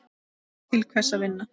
Til hvers að vinna?